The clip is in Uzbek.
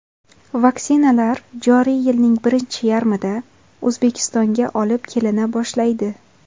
Vaksinalar joriy yilning birinchi yarmida O‘zbekistonga olib kelina boshlaydi.